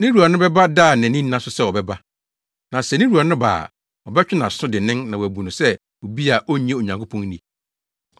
ne wura no bɛba da a nʼani nna so sɛ ɔbɛba. Na sɛ ne wura no ba a, ɔbɛtwe nʼaso dennen na wabu no sɛ obi a onnye Onyankopɔn nni.